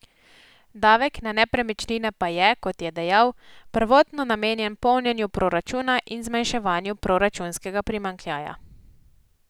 Davek na nepremičnine pa je, kot je dejal, prvotno namenjen polnjenju proračuna in zmanjševanju proračunskega primanjkljaja.